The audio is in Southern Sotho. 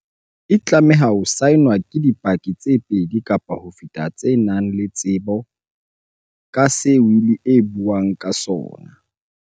E tlameha ho saenwa ke di paki tse pedi kapa ho feta tse nang le tsebo ka se wili e buang ka sona.